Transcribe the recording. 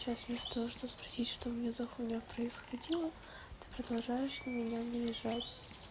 сейчас вместо того чтобы спросить что у меня за хуйня происходила ты продолжаешь на меня наезжать